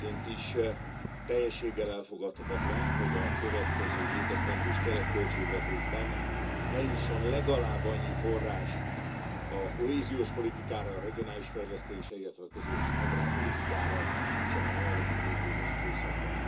Elsőként is teljességgel elfogadhatatlan, hogy a következő hétesztendős keretköltségvetésben ne jusson legalább annyi forrás a kohéziós politikára, a regionális fejlesztésre, illetve a közös agrárpolitikára, mintsem a jelenlegi hétéves időszakban.